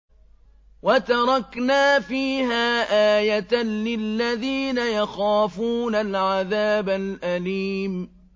وَتَرَكْنَا فِيهَا آيَةً لِّلَّذِينَ يَخَافُونَ الْعَذَابَ الْأَلِيمَ